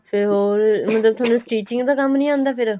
ਫੇਰ ਹੋਰ ਮਤਲਬ ਥੋਨੂੰ stitching ਦਾ ਕੰਮ ਨਹੀਂ ਆਉਂਦਾ ਫੇਰ